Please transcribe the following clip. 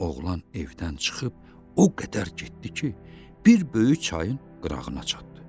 Oğlan evdən çıxıb, o qədər getdi ki, bir böyük çayın qırağına çatdı.